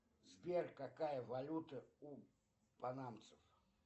сбер какая валюта у панамцев